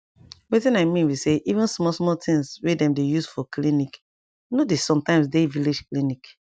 wetin i mean be say even small small things wey dem dey use for clinc nor dey sometimes dey village clinic